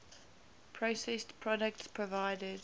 processed products provided